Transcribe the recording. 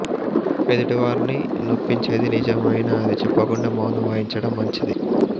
ఎదుటి వారిని నొప్పించేది నిజం అయినా అది చెప్పకుండా మౌనం వహించటం మంచిది